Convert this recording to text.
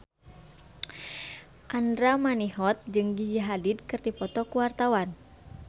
Andra Manihot jeung Gigi Hadid keur dipoto ku wartawan